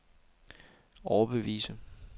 overbevise